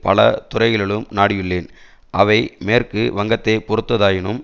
பல துறைகளிலும் நாடியுள்ளேன் அவை மேற்கு வங்கத்தை பொறுத்ததாயினும்